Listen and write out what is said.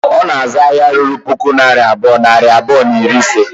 Ọ na-azụ ahịa ruru puku naira abụọ, nari abụọ na iri ise